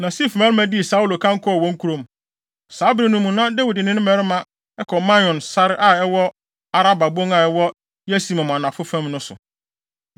Na Sif mmarima dii Saulo kan kɔɔ wɔn kurom. Saa bere no mu na Dawid ne ne mmarima kɔ Maon sare a ɛwɔ Araba bon a ɛwɔ Yesimon anafo fam no so.